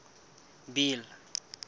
bill